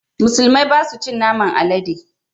Musulmai ba su cin naman alade